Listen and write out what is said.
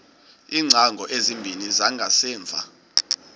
iingcango ezimbini zangasemva